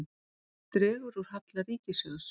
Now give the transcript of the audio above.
Dregur úr halla ríkissjóðs